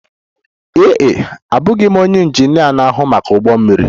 Ee e, abụghị m onye injinia na-ahụ maka ụgbọ mmiri.